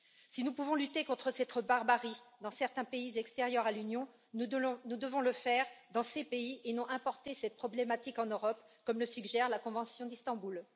Si nous pouvons lutter contre cette barbarie dans certains pays extérieurs à l'Union, nous devons le faire dans ces pays et non importer cette problématique en Europe, comme le suggère la convention d'Istanbul.